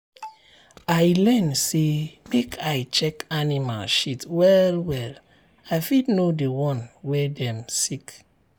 i learn say make i check animal shit well well i fit know the one wey dem sick.